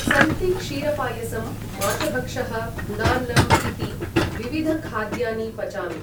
सन्ति क्षीरपायसं माशभक्षः गुडान्नम् इति विविधखाद्यानि पचामि ।